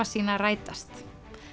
sína rætast